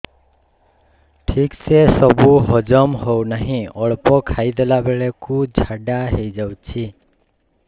ଠିକସେ ସବୁ ହଜମ ହଉନାହିଁ ଅଳ୍ପ ଖାଇ ଦେଲା ବେଳ କୁ ଝାଡା ହେଇଯାଉଛି